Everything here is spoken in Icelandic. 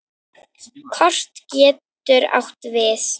Kort getur átt við